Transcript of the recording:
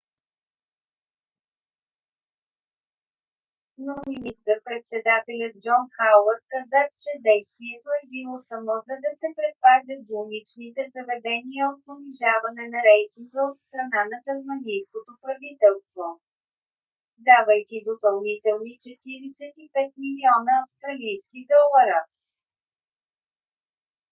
но министър - председателят джон хауърд каза че действието е било само за да се предпазят болничните заведения от понижаване на рейтинга от страна на тасманийското правителство давайки допълнителни 45 милиона австралийски долара